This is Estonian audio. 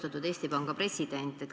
Austatud Eesti Panga president!